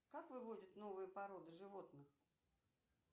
как выводят новые породы животных